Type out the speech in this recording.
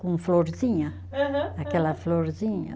Com florzinha. Aham, aham. Aquela florzinha.